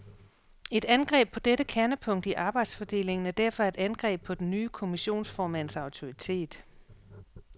Et angreb på dette kernepunkt i arbejdsfordelingen er derfor et angreb på den nye kommissionsformands autoritet.